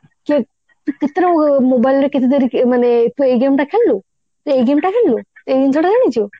କିଏ ଏଇ କେତେ ଟଙ୍କା mobile ରେ କେମିତିଆ ଟିକେ ମାନେ ତୁ ଏଇ game ଟା ଖେଳିଲୁ ତୁ ଏଇ game ଟା ଖେଳିଲୁ ତୁ ଏଇ ଜିନିଷ ଟା ଜାଣିଛୁ